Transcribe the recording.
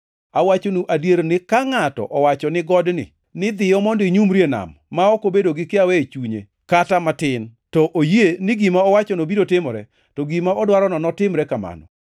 Awachonu adier ni ka ngʼato owacho ne godni ni, ‘Dhiyo mondo inyumri e nam,’ ma ok obedo gi kiawa e chunye kata matin, to oyie ni gima owachono biro timore, to gima odwarono notimre kamano.